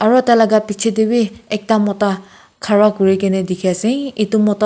aro taila bichae tae bi ekta mota khara kurikaena dikhiase edu mota tu.